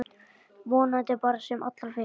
Vonandi bara sem allra fyrst.